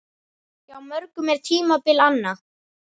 Hjá mörgum er tímabil anna.